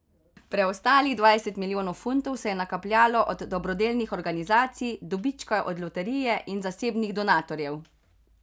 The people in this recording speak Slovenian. Preostalih dvajset milijonov funtov se je nakapljalo od dobrodelnih organizacij, dobička od loterije in zasebnih donatorjev.